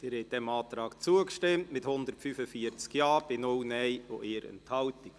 Sie haben dem Antrag zugestimmt mit 145 Ja-Stimmen gegen keine Nein-Stimme bei 1 Enthaltung.